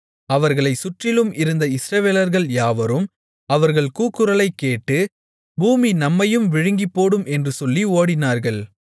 அவர்களைச் சுற்றிலும் இருந்த இஸ்ரவேலர்கள் யாவரும் அவர்கள் கூக்குரலைக்கேட்டு பூமி நம்மையும் விழுங்கிப்போடும் என்று சொல்லி ஓடினார்கள்